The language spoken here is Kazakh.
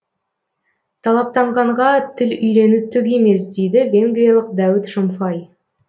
талаптанғанға тіл үйрену түк емес дейді венгриялық дәуіт шомфай